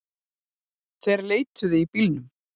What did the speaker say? Þeir leituðu í bílunum